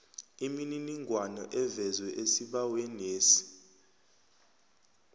imininingwana evezwe esibawenesi